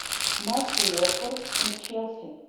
матч уотфорд и челси